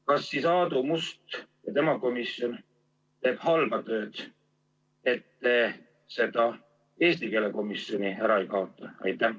Kas siis Aadu Must ja tema komisjon teeb halba tööd, et te seda eesti keele komisjoni ära ei kaota?